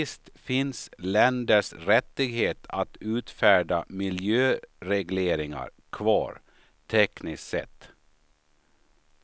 Visst finns länders rättighet att utfärda miljöregleringar kvar, tekniskt sett.